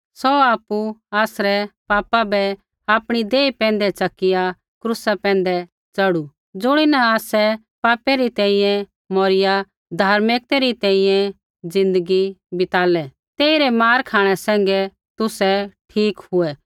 सौ आपु आसरै पापा बै आपणी देही पैंधै च़किआ क्रूसा पैंधै च़ढ़ू ज़ुणीन आसै पापै री तैंईंयैं मौरिया धार्मिकतै री तैंईंयैं ज़िन्दगी बितालै तेइरै मार खाँणै सैंघै तुसै ठीक हुऐ